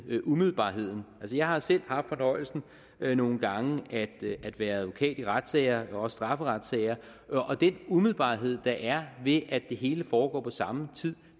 umiddelbarheden jeg har selv haft fornøjelsen af nogle gange at at være advokat i retssager også strafferetssager og den umiddelbarhed der er ved at det hele foregår på samme tid